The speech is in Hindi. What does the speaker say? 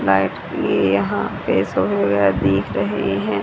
लाइट ये यहां पे दिख रहे हैं।